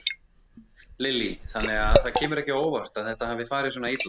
Lillý: Þannig að það kemur ekki á óvart að þetta hafi farið svona illa?